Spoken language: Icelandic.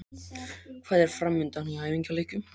Hvað er framundan í æfingaleikjum?